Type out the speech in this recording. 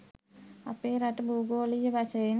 අපේ රට බූගොලිය වශයෙන්